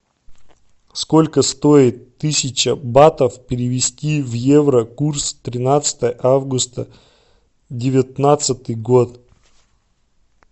сколько стоит тысяча батов перевести в евро курс тринадцатое августа девятнадцатый год